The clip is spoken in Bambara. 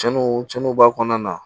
Cɛnniw cɛnni b'a kɔnɔna na